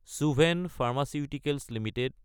Suven pharmaceuticals Ltd